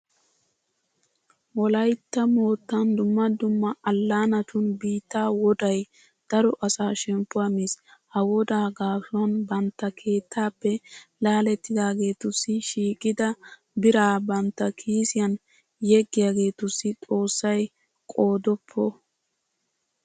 Wolaytta moottan dumma dumma allaanatun biittaa wodday daro asaa shemppuwa miis. Ha woddaa gaasuwan bantta keettaappe laalettidaageetussi shiiqida biraa bantta kiisiyan yeggiyageetussi xoossay qoodoppo!